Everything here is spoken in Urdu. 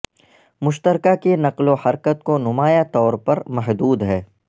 مشترکہ کی نقل و حرکت کو نمایاں طور پر محدود ہے